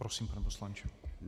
Prosím, pane poslanče.